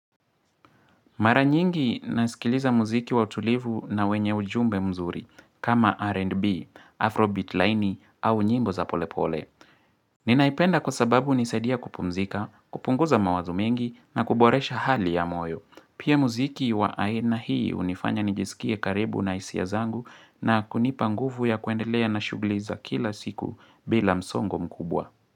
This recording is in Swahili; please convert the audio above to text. Mara nyingi nasikiliza muziki wa utulivu na wenye ujumbe mzuri kama R&B, Afrobeat laini au nyimbo za pole pole. Ninaipenda kwa sababu unisaidia kupumzika, kupunguza mawazo mengi na kuboresha hali ya moyo. Pia muziki wa aena hii unifanya nijisikie karibu na hisia zangu na kunipa nguvu ya kuendelea na shugli za kila siku bila msongo mkubwa.